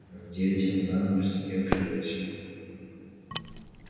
в девять он снова приступил к работе